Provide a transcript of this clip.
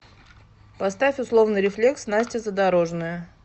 поставь условный рефлекс настя задорожная